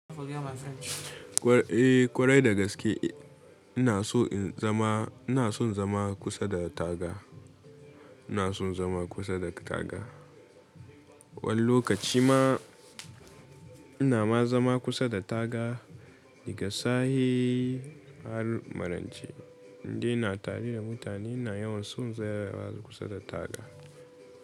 Eh ƙwarai dagaske ina son in zama, ina son zama kusa da taga, ina son zama kusa da taga. Wani lokaci ma ina ma zama kusa da taga, da ga sahe har maraice. Inde ina tare da mutane ina yawan son tsayawa kusa da taga.